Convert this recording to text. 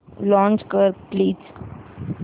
launch कर please